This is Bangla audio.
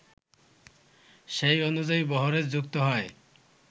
সেই অনুযায়ী বহরে যুক্ত হয়